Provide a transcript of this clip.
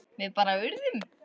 Við bara urðum.